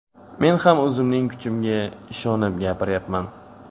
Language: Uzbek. Men ham o‘zimning kuchimga ishonib gapiryapman.